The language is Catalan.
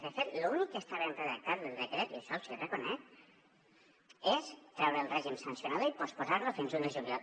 de fet l’únic que està ben redactat del decret i això els hi reconec és treure el règim sancionador i posposar lo fins a un de juliol